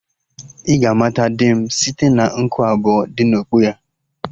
Ị ga-amata di m site na nku abụọ dị na okpu ya